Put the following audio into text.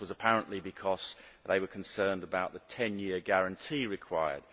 This was, apparently, because they were concerned about the ten year guarantee required.